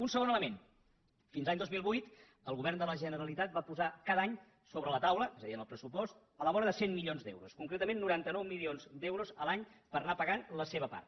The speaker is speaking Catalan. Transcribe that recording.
un segon element fins l’any dos mil vuit el govern de la generalitat va posar cada any sobre la taula és a dir en el pressupost a la vora de cent milions d’euros concretament noranta nou milions d’euros l’any per anar pagant la seva part